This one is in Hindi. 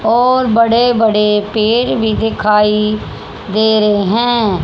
और बड़े बड़े पेड़ भी दिखाई दे रहे हैं।